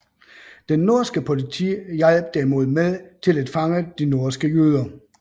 Det norske politi hjalp derimod med til at fange de norske jøder